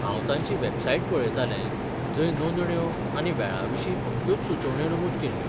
हांव तांची वेबसाइट पळयतालें, जंय नोंदण्यो, आनी वेळाविशीं अमक्योच सुचोवण्यो नमुद केल्ल्यो.